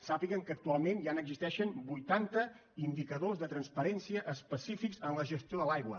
sàpiguen que actualment ja n’existeixen vuitanta indicadors de transparència específics en la gestió de l’aigua